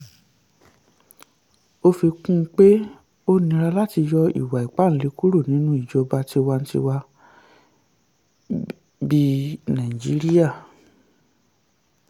ó fi kún un pé ó nira láti yọ ìwà ipáǹle kúrò nínú ìjọba tiwantiwa bíi nàìjíríà.